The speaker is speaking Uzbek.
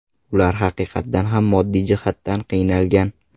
Ular haqiqatdan ham moddiy jihatdan qiynalgan.